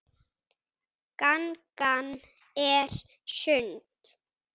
Gangan er sund.